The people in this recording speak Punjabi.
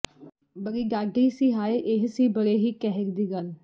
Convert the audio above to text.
ਬੜੀ ਡਾਢੀ ਸੀ ਹਾਏ ਇਹ ਸੀ ਬੜੇ ਹੀ ਕਹਿਰ ਦੀ ਗੱਲ